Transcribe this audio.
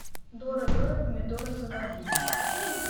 дора дора помидора заводи